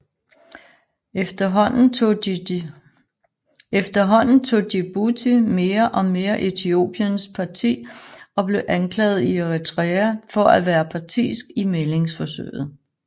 Efterhånden tog Djibouti mere og mere Etiopiæns parti og blev anklaget af Eritrea for at være partisk i mæglingsforsøget